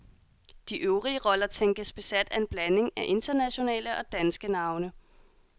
De øvrige roller tænkes besat af en blanding af internationale og danske navne.